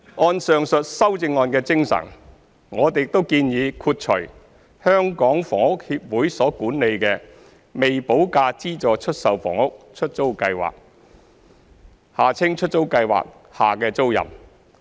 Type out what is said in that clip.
按上述修正案的精神，我們亦建議豁除香港房屋協會所管理的"未補價資助出售房屋——出租計劃"下的租賃。